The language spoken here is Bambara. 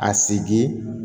A segin